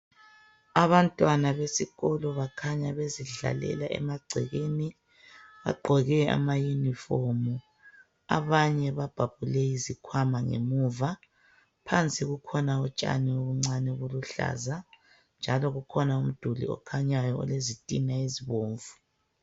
Abantwana besikolo bakhanya bezidlalela emagcekeni. Bagqoke amayunifomu, abanye babhabhule izikhwama ngemuva. Phansi kukhona utshani obuncane obuluhlaza njalo kukhona umduli okhanyayo olezitina ezibomvu.